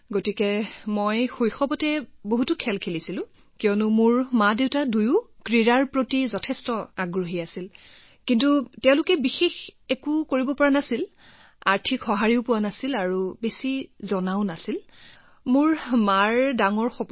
গতিকে মই শৈশৱত বহুত খেল খেলিছিলো কাৰণ মোৰ মাদেউতা দুয়োজনেই খেলৰ প্ৰতি অতি আগ্ৰহী আছিল কিন্তু তেওঁলোকে একো কৰিব পৰা নাছিল আৰ্থিক সহায় ইমান নাছিল আৰু ইমান তথ্য নাছিল গতিকে মাৰ এটা ডাঙৰ সপোন